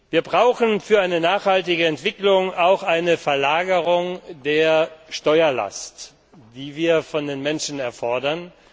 mehr. Wir brauchen für eine nachhaltige Entwicklung auch eine Verlagerung der Steuerlast, die wir von den Menschen einfordern.